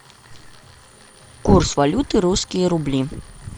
курс валюты русские рубли